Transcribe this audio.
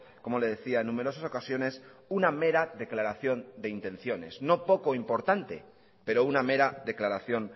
como le decía en numerosas ocasiones una mera declaración de intenciones no poco importante pero una mera declaración